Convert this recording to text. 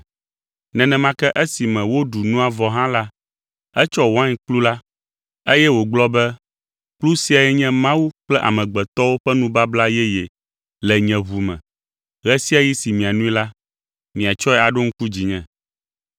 Nenema ke esime woɖu nua vɔ hã la, etsɔ wainkplu la, eye wògblɔ be, “Kplu siae nye Mawu kple amegbetɔwo ƒe nubabla yeye le nye ʋu me, ɣe sia ɣi si mianoe la, miatsɔe aɖo ŋku dzinye.”